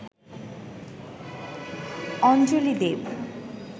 অঞ্জলি দেব